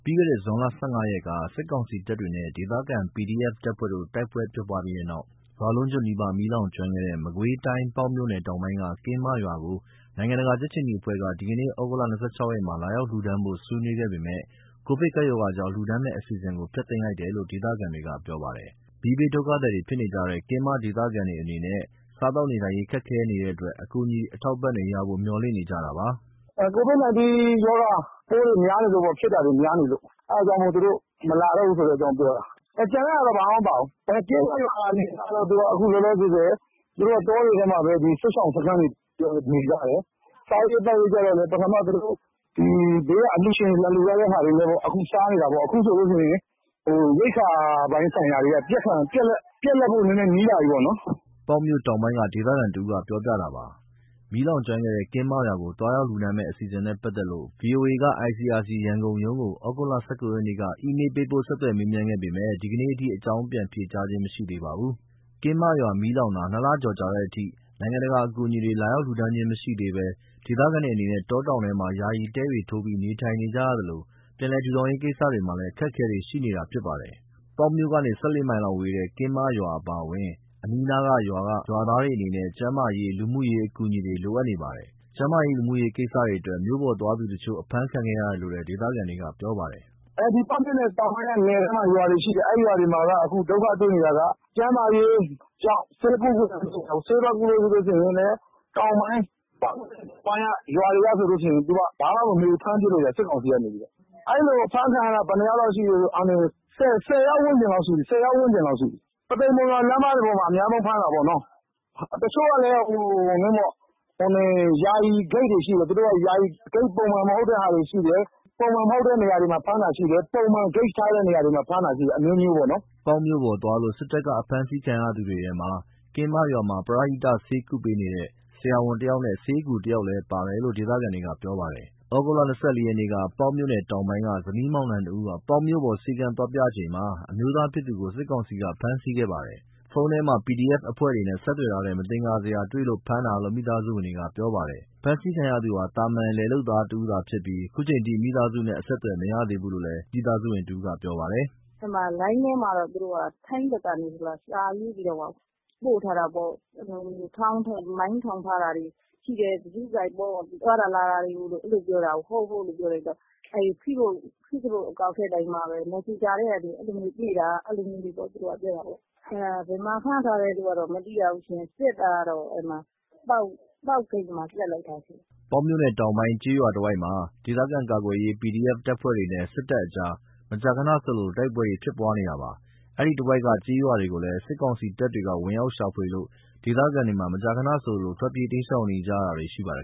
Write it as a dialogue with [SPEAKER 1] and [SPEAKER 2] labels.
[SPEAKER 1] ီးခဲ့တဲ့ ဇွန် ၁၅ ရက်က စစ်ကောင်စီတပ်တွေနဲ့ ဒေသခံ PDF တပ်ဖွဲ့တို့ တိုက်ပွဲဖြစ်ပြီးတဲ့နောက် ရွာလုံးကျွတ် နီးပါး မီးလောင်ကျွမ်းခဲ့တဲ့ မကွေးတိုင်း ပေါက်မြို့နယ် တောင်ပိုင်းက ကင်းမရွာကို နိုင်ငံတကာ ကြက်ခြေနီအဖွဲ့က ဒီကနေ့ သြဂုတ် ၂၆ ရက်မှာ လာရောက်လှူဒါန်းဖို့ ဆွေးနွေးခဲ့ပေမယ့် ကိုဗစ်ကပ်ရောဂါကြောင့် လှူဒါန်းမယ့်အစီအစဉ်ကို ဖျက်သိမ်းလိုက်တယ်လို့ ဒေသခံတွေကပြောပါတယ်။ မီးဘေးဒုက္ခသည်ဖြစ်နေကြတဲ့ ကင်းမဒေသခံတွေအနေနဲ့ စားသောက်နေထိုင်ရေး ခက်ခဲနေတဲ့အတွက် အကူအညီ အထောက်အပံ့တွေရ
[SPEAKER 2] ဖို့ မေ ျှာ်လင့်နေကြတာပါ။ “COVID-19 ရောဂါပိုးတွေ ဖြစ်တာများနေလို့ အဲ့ဒါကြောင့်မို့ သူတို့မလာတော့ဘူးဆိုတဲ့အကြောင်းပြောတာ။ ကျန်တဲ့ဟာတွေဘာမှမပြောဘူး။ အခုလောလောဆယ် ကင်းမရွာအနေအထားကတော့ တောတွေထဲမှာပဲ စစ်ရှောင်စခန်းတွေနဲ့ နေကြတယ်။ စားရေးသောက်ရေးကြတော့လည်း ပထမ သူတို့ဘေးက အလှူရှင်တွေ လာလှူထားတဲ့ဟာတွေနဲ့ စားနေတာပေါ့။ အခုဆိုရင် ရိက္ခာပိုင်းဆိုင်ရာတွေက ပြတ်လပ်ဖို့ နီးလာပြီပေါ့
[SPEAKER 1] ။" ပေါက်မြို့တောင်ပိုင်းက ဒေသခံတဦးပြောပြတာပါ။ မီးလောင်ကျွမ်းခဲ့တဲ့ ကင်းမရွာကို သွားရောက်လှူဒါန်းမယ့် အစီအစဉ်နဲ့ ပတ်သက်လို့ ဗွီအိုအေက ICRC ရန်ကုန်ရုံးကို သြဂုတ် ၁၉ ရက်က အီးမေလ်းပို့ ဆက်သွယ်မေးမြန်းခဲ့ပေမယ့် ဒီကနေ့အထိ အကြောင်းပြန်ဖြေကြားခြင်းမရှိသေးပါဘူး။ ကင်းမရွာမီးလောင်တာ ၂ လကျော်ကြာတဲ့အထိ နိုင်ငံတကာအကူအညီတွေ လာရောက်လှူဒါန်းတာမရှိသေးဘဲ ဒေသခံတွေအနေနဲ့ တောတောင်တွေထဲမှာ ယာယီတဲတွေထိုးပြီးနေထိုင်နေရသလို ပြန်လည် ထူထောင်ရေးကိစ္စတွေမှာ အခက်အခဲတွေရှိနေတာဖြစ်ပါတယ်။ ပေါက်မြို့ကနေ ၁၄ မိုင်လောက်ဝေးတဲ့ ကင်းမရွာအပါအဝင် အနီးအနားရွာတွေက ရွာသားတွေအနေနဲ့ ကျန်းမာရေး၊ လူမှုရေးအကူအညီတွေ လိုအပ်နေပါတယ်။ ကျန်းမာရေး၊ လူမှုရေးကိစ္စတွေအတွက် မြို့ပေါ်သွားသူတချို့ အဖမ်းခံခဲ့ရတယ်လို့ ဒေသခံတွေက ပြောပါတယ်။
[SPEAKER 2] "ပေါက်မြို့နယ်တောင်ပိုင်းက နယ်ထဲက ရွာတွေမှာက ဒုက္ခတွေ့နေတာက ကျန်းမာရေးကြောင့် ဆေးသွားကုလို့မရဘူး။ ဆေးသွားကုလို့ ပေါက်မြို့နယ် တောင်ပိုင်းက ရွာတွေဆိုရင် ဘာမှမမေးဘူး ဖမ်းပစ်လိုက်တယ် စစ်ကောင်စီက။ အဲ့လိုဖမ်းခံရတာ ဘယ်နှယောက်လောက် ရှိပြီလဲဆိုရင် ၁၀ ယောက်ဝန်းကျင်လောက်ရှိပြီ။ ပုသိမ် မုံရွာလမ်းမှာ အဓိကဖမ်းတာပေါ့။ တချို့ဆို ယာယီဂိတ်တွေရှိတယ်။ သူတို့က ယာယီဂိတ် ပုံမှန်မဟုတ်တဲ့ဟာတွေရှိတယ်။ ပုံမှန်မဟုတ်တဲ့ဂိတ်တွေမှာ ဖမ်းတာရှိတယ်။ ပုံမှန်မဟုတ်တဲ့ဂိတ်တွေမှာ ဖမ်းတာတွေလည်းရှိတယ်
[SPEAKER 1] ။” ပေါက်မြို့ပေါ် သွားလို့ စစ်တပ်က ဖမ်းဆီးခံရသူတွေထဲမှာ ကင်းမရွာမှာ ပရဟိတ ဆေးကုသပေးနေတဲ့ ဆရာဝန်တယောက်နဲ့ ဆေးအကူတယောက်လည်းပါတယ်လို့ ဒေသခံတွေကပြောပါတယ်။ သြဂုတ် ၂၄ ရက်ကတော့ ပေါက်မြို့နယ်တောင်ပိုင်းက ဇနီးမောင်နှံနှစ်ဦး ပေါက်မြို့ပေါ် ဆေးခန်းသွားပြချိန်မှာ အမျိုးသားဖြစ်သူကို စစ်ကောင်စီက ဖမ်းဆီးခဲ့ပါတယ်။ ဖုန်းထဲမှာ PDF အဖွဲ့တွေနဲ့ဆက်သွယ်ထားတဲ့ မသင်္ကာစရာတွေ တွေ့လို့ဖမ်းတာလို့ မိသားစုဝင်တယောက်က ပြောပါတယ်။ ဖမ်းဆီးခံရသူဟာ သာမာန် လယ်လုပ်သားတဦးသာဖြစ်ပြီး ခုချိန်အထိ မိသားစုနဲ့အဆက်အသွယ် မရသေးဘူးလို့ မိသားစုဝင်တဦးက ပြောပါတယ်
[SPEAKER 3] ။ “လိုင်းထဲမှာတော့ ထိုင်းဘက်ကနေ စာရေးပြီးတော့မှ ပို့ထားတာပေါ့။ မိုင်းထောင်ထားတာတွေရှိတယ်။ ဂရုစိုက်ပေါ့ သွားတာလာတာတွေ ရှိတယ်ပြောတာကို ဟုတ် ဟုတ်လို့ ပြောလိုက်တော့ ဖေ့ဘွတ်အကောင့် မက်ဆင်ဂျာကနေ တွေ့တာလို့ အဲ့လိုပြောတာပေါ့။ ဘယ်မှာဖမ်းထားတယ်ဆိုတာ မသိရဘူး။ စစ်တာတော့ ပေါက်ဂိတ်မှာ မိတာ။”
[SPEAKER 1] ပေါက်မြို့နယ်တောင်ပိုင်း ကျေးရွာတွေတဝိုက်မှာ ဒေသခံကာကွယ်ရေး PDF အဖွဲ့တွေနဲ့ စစ်တပ်ကြား မကြာခဏဆိုသလို တိုက်ပွဲတွေဖြစ်ပွားနေတာပါ။ အဲဒီတဝိုက်က ကျေးရွာတွေကိုလည်း စစ်ကောင်စီတပ်တွေ ဝင်ရောက်ရှာဖွေလို့ ဒေသခံတွေမှာ မကြာခဏဆိုသလို ထွက်ပြေး တိမ်းရှောင်နေရတာတွေ ရှိနေပါတယ်